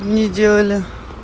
мне делали